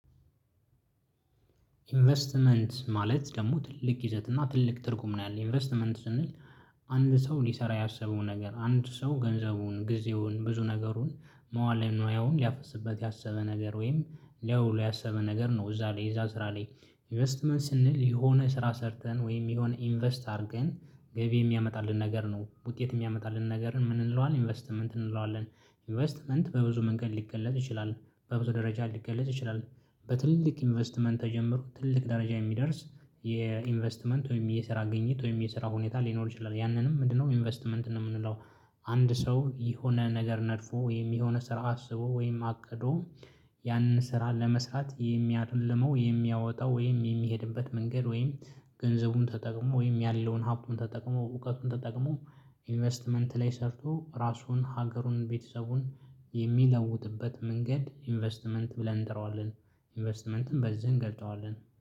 ኢንቨስትመንት ማለት ደግሞ ትልቅ ይዘት እና ትልቅ ትርጉም ነው ያለው ኢንቨስትመንት ስንል አንድ ሰው ሊሰራ ያሰበው ነገር አንድ ሰው ገንዘቡን ጊዜውን ብዙ ነገሩን መዋለንዋዩን ሊያፈስበት ያሰበ ነገር ወይም ለያውለው ያሰበ ነገር ነው እዛ ላይ እዛ ስራ ላይ ኢንቨስትመንት ስንል የሆነ ስራ ሰርተን ወይም የሆነ ኢንቨስት አድርገን ገቢ የሚያመጣልን ነገር ነው ውጤት እሚያመጣልን ነገር ምን እንለዋለን ኢንቨስትመንት እንለዋለን። ኢንቨስትመንት በብዙ መንገድ ሊገለጽ ይችላል በብዙ ደረጃ ሊገለጽ ይችላል። በትልቅ ኢንቨስትመንት ተጀምሮ ትልቅ ደረጃ የሚደርስ የኢንቨስትመንት ወይም የስራ ግኝት ወይም የስራ ሁኔታ ሊኖር ይችላል ያንን ምንድነው ኢንቨስትመንት ነው እምንለው። አንድ ሰው የሆነ ነገር ነድፎ ወይም የሆነ ስራ አስቦ ወይም አቅዶ ያንን ስራ ለመስራት የሚያልመው የሚያወጣው ወይም የሚሄድበት መንገድ ወይም ተጠቅሞ ወይም ያለውን ሀብቱን ተጠቅሞ እውቀቱን ተጠቅሞ ኢንቨስትመንት ላይ ሰርቶ ራሱን ሀገሩን ቤተሰቡን የሚለውጥበት መንገድ ኢንቨስትመንት ብለን እንጠራዋለን። ኢንቨስትመንትን በዚህ እንገልጸዋለን